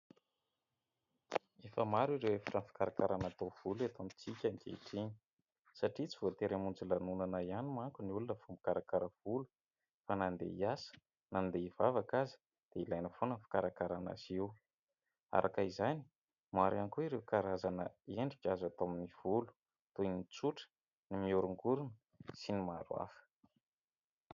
Efa maro ireo efitrano fikarakarana taovolo eto amintsika ankehitriny satria tsy voatery hamonjy lanonana ihany manko ny olona vao mikarakara volo fa na andeha hiasa na andeha hivavaka aza dia ilaina foana ny fikarakarana azy io. Araka izany, maro ihany koa ireo karazana endrika azo atao amin'ny volo toy ny tsotra, ny mihorongorona sy ny maro hafa.